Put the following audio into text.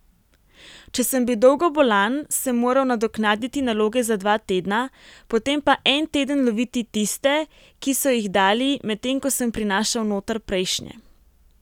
Če sem bil dolgo bolan, sem moral nadoknaditi naloge za dva tedna, potem pa en teden loviti tiste, ki so jih dali, medtem ko sem prinašal noter prejšnje.